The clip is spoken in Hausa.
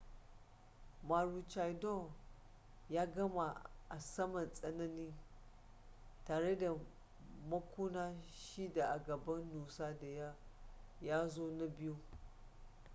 maroochydore ya gama a saman tsanin tare da makuna shida a gaban noose da ya zo na biyu